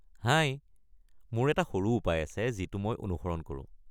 হাই, মোৰ এটা সৰু উপায় আছে যিটো মই অনুসৰণ কৰো।